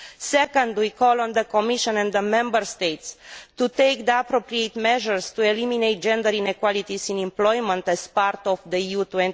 Second, we call on the Commission and the Member States to take the appropriate measures to eliminate gender inequalities in employment as part of Europe